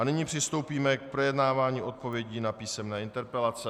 A nyní přistoupíme k projednávání odpovědí na písemné interpelace.